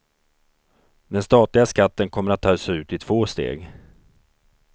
Den statliga skatten kommer att tas ut i två steg.